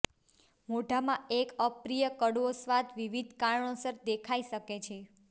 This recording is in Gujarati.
મોઢામાં એક અપ્રિય કડવો સ્વાદ વિવિધ કારણોસર દેખાઈ શકે છે